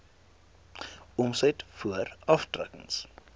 omset voor aftrekkings